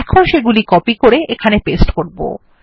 এখন সেগুলি কপি করে এখানে পেস্ট করবো